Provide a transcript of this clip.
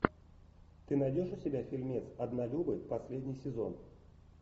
ты найдешь у себя фильмец однолюбы последний сезон